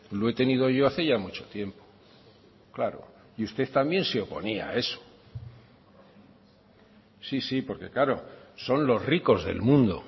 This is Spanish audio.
lo he tenido yo hace ya mucho tiempo claro y usted también se oponía a eso sí sí porque claro son los ricos del mundo